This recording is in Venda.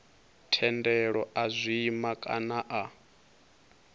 thendelo a zwima kana a